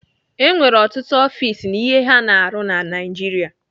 E nwere ọtụtụ ọfis na ihe ha na-arụ na Naijiria.